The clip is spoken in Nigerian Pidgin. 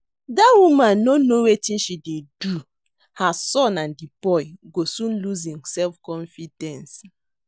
Dat woman no know wetin she dey do her son and the boy go soon lose im self confidence